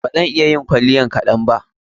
Ba zan iya yin kwalliyan kaɗan ba.